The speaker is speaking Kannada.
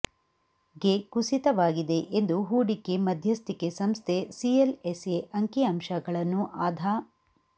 ಗೆ ಕುಸಿತವಾಗಿದೆ ಎಂದು ಹೂಡಿಕೆ ಮಧ್ಯಸ್ಥಿಕೆ ಸಂಸ್ಥೆ ಸಿಎಲ್ಎಸ್ಎ ಅಂಕಿಅಂಶಗಳನ್ನು ಆಧಾ